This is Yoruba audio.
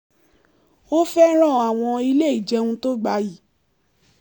ó fẹ́ràn àwọn ilé ìjẹun tó gbayì